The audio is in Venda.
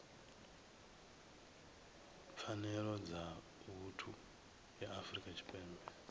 pfanelo dza vhuthu ya afrika tshipembe